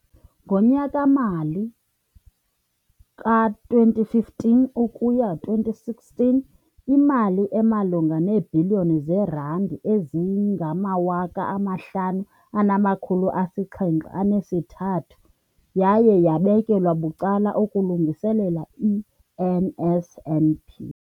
Ngonyaka-mali wama-2015 ukuya 2016, imali emalunga neebhiliyoni zeerandi eziyi-5 703 yaye yabekelwa bucala ukulungiselela i-NSNP.